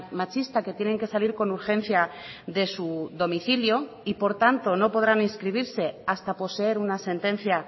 machista que tienen que salir con urgencia de su domicilio y por tanto no podrán inscribirse hasta poseer una sentencia